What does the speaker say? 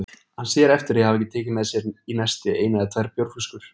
Hann sér eftir að hafa ekki tekið með sér í nesti eina eða tvær bjórflöskur.